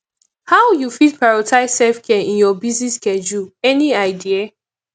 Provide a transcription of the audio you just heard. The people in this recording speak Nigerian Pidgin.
how you fit prioritize selfcare in your busy schedule any idea